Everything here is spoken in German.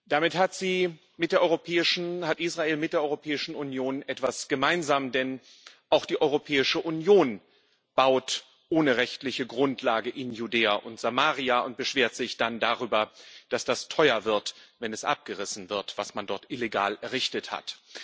Damit hat Israel mit der Europäischen Union etwas gemeinsam, denn auch die Europäische Union baut ohne rechtliche Grundlage in Judäa und Samaria und beschwert sich dann darüber, dass das teuer wird, wenn es abgerissen wird, was man dort illegal errichtet hat.